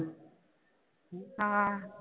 ਹਾਂ।